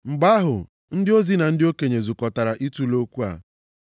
Mgbe ahụ, ndị ozi na ndị okenye zukọtara itule okwu a.